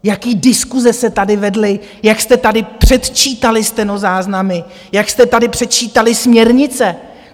Jaké diskuse se tady vedly, jak jste tady předčítali stenozáznamy, jak jste tady předčítali směrnice!